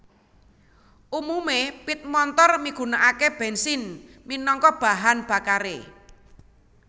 Umume pit montor migunakake bensin minangka bahan bakare